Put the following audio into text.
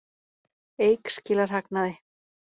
Eik skilar hagnaði